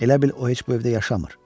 Elə bil o heç bu evdə yaşamır.